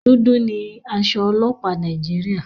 Dúdú ni aṣọ ọlọ́pàá Nàìjíríà.